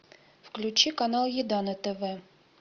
включи канал еда на тв